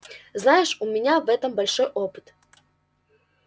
знаешь у меня в этом большой опыт